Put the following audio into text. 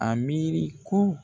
A miiri ko